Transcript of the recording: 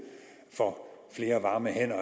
for flere varme hænder